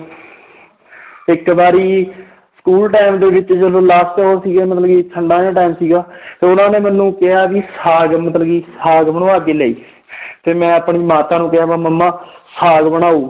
ਇੱਕ ਵਾਰੀ school time ਦੇ ਵਿੱਚ ਜਦੋਂ last ਉਹ ਸੀਗੇ ਮਤਲਬ ਕਿ ਠੰਢਾਂ ਦਾ time ਸੀਗਾ ਤਾਂ ਉਹਨਾਂ ਨੇ ਮੈਨੂੰ ਕਿਹਾ ਵੀ ਸਾਘ ਮਤਲਬ ਕਿ ਸਾਘ ਬਣਵਾ ਕੇ ਲਿਆਈ ਤੇ ਮੈਂ ਆਪਣੀ ਮਾਤਾ ਨੂੰ ਕਿਹਾ ਮੰਮਾ ਸਾਘ ਬਣਾਓ